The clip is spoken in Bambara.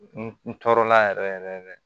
N tɔɔrɔ la yɛrɛ yɛrɛ yɛrɛ